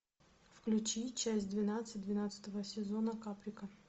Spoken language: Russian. включи часть двенадцать двенадцатого сезона каприка